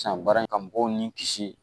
San baara in ka mɔgɔw ni kisi